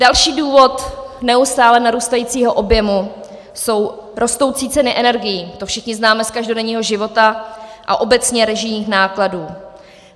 Další důvod neustále narůstající objemu jsou rostoucí ceny energií, to všichni známe z každodenního života, a obecně režijních nákladů.